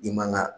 I man ga